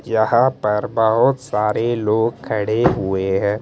यहाँ पर बहुत सारे लोग खड़े हुए हैं।